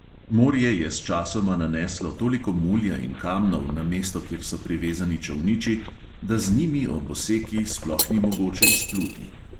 Morje je sčasoma naneslo toliko mulja in kamnov na mesto, kjer so privezani čolniči, da z njimi ob oseki sploh ni mogoče izpluti.